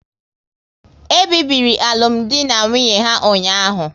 E bibiri alụmdi na nwunye ha ụnyaahụ